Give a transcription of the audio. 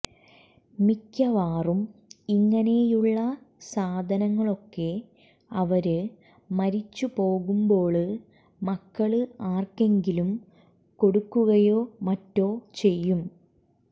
മിക്കവാറും ഇങ്ങനെയുള്ള സാധനങ്ങളൊക്കെ അവര് മരിച്ചുപോകുമ്പോള് മക്കള് ആര്ക്കെങ്കിലും കൊടുക്കുകയോ മറ്റോ ചെയ്യും